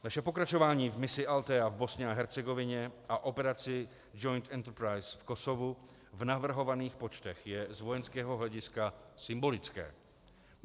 Naše pokračování v misi ALTHEA v Bosně a Hercegovině a operaci Joint Enterprise v Kosovu v navrhovaných počtech je z vojenského hlediska symbolické.